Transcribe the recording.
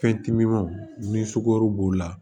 Fɛn timinanw ni sukaro b'o la